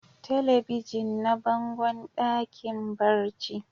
Telebijin na bangon dakin barci.